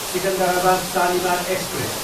Secunderabad, Shalimar express